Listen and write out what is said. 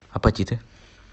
апатиты